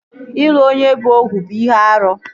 Ịlụ onye bụ Ohu bụ ihe árú